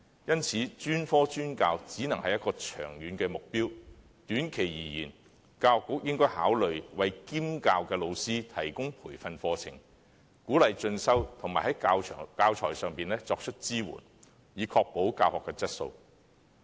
因此，專科專教只能是一個長遠目標，短期而言，教育局應考慮為兼教老師提供培訓課程，鼓勵進修，並在教材上作出支援，以確保教學質素。